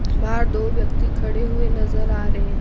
बाहर दो व्यक्ति खड़े हुए नज़र आ रहे हैं।